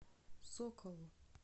соколу